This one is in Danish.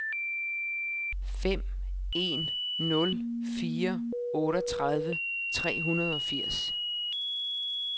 fem en nul fire otteogtredive tre hundrede og firs